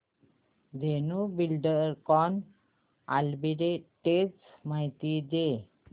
Dhenu Buildcon arbitrage माहिती दे